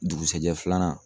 Dugusɛjɛ filanan.